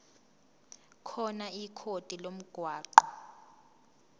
khona ikhodi lomgwaqo